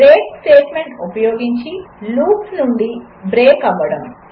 break statement ఉపయోగించి loops నుండి break out అవ్వడం 3